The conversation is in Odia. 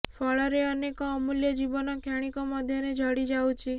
ଫଳରେ ଅନେକ ଅମୂଲ୍ୟ ଜୀବନ କ୍ଷଣିକ ମଧ୍ୟରେ ଝଡ଼ି ଯାଉଛି